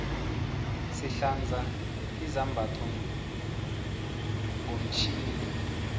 sihlanza izambatho ngomtjhini